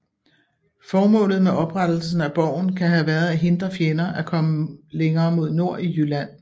Formålet med oprettelsen af borgen kan have været at hindre fjender at komme længere mod nord i Jylland